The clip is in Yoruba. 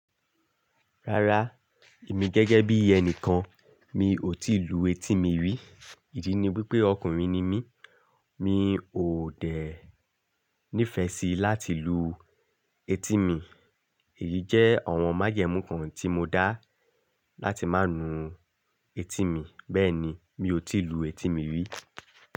Rárá, èmi gẹ́gẹ́ bí ẹni kan, mi ò tí ì lu etí mi rí. Ìdí ni wípé ọkùnrin ni mí, mi ò dẹ ní ìfẹ́ sí láti lu etí mi. Èyí jẹ́ ọ̀wọ́n májẹ̀mú kan tí mo dá láti má lu etí mi. Bẹ́ẹ̀ ni, mi ò tí ì lu etí mi rí.